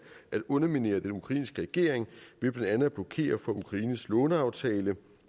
at underminere den ukrainske regering ved blandt andet at blokere for ukraines låneaftale